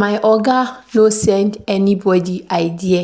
My oga no send anybodi idea,